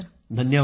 धन्यवाद